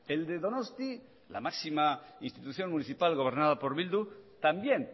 el de donosti la máxima institución municipal gobernada por bildu también